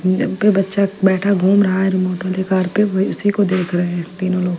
जम पे बच्चा बैठा घूम रहा है रिमोट वाली कार पे वह उसी को देख रहे है तीन लोग।